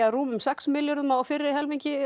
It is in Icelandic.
rúmum sex milljörðum á fyrri helmingi